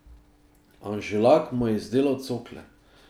Anželak mu je izdelal cokle.